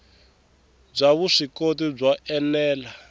byo vuswikoti byo ene la